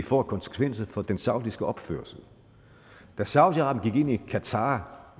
får af konsekvenser for den saudiske opførsel saudi arabien i qatar